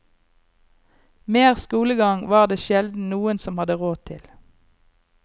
Mer skolegang var det sjelden noen som hadde råd til.